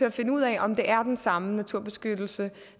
at finde ud af om det er den samme naturbeskyttelse